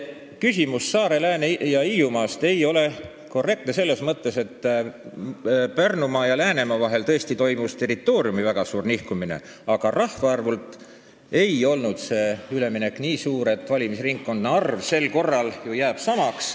Küsimus Saare-, Lääne- ja Hiiumaast ei ole korrektne selles mõttes, et Pärnumaa ja Läänemaa vahel tõesti toimus territooriumi väga suur nihkumine, aga rahvaarvult ei olnud see üleminek nii suur, valimisringkondade arv sel korral ju jääb samaks.